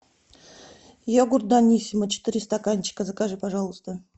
йогурт даниссимо четыре стаканчика закажи пожалуйста